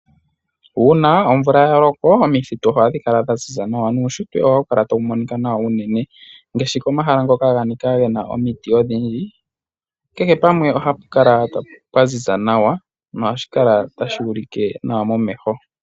Uuna omvula ya loko omithitu ohadhi kala dha ziza nawa nuushitwe ohawu kala tawu monika nawa uunene ngaashi komahala hoka ga nika ge na omuti odhindji. Kehe pamwe ohapu kala pwa ziza nawa nohashi kala tashi ulike nawa momeho.